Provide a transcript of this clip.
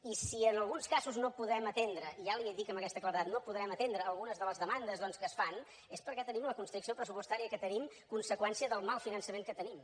i si en alguns casos no podem atendre ja li ho dic amb aquesta claredat no podem atendre algunes de les demandes doncs que es fan és perquè tenim la constricció pressupostària que tenim conseqüència del mal finançament que tenim